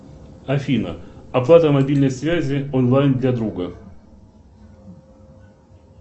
афина оплата мобильной связи онлайн для друга